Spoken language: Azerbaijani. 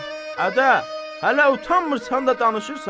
Ədə, hələ utanmırsan da danışırsan?